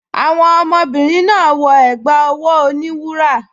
Àwọn ọmọbìnrin náà wọ ẹ̀gbá ọwọ́ oníwúrà